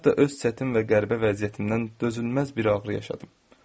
Hətta öz çətin və qəribə vəziyyətimdən dözülməz bir ağrı yaşadım.